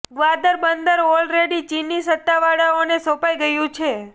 ગ્વાદર બંદર already ચીની સત્તાવાળાઓને સોંપાઈ ગયું છે